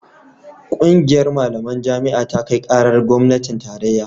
ƙungiyar malaman jami'a ta kai karar gwamnatin tarayya